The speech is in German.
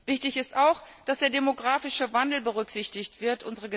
Wichtig ist auch, dass der demografische Wandel berücksichtigt wird.